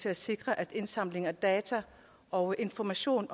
at sikre at indsamling af data og information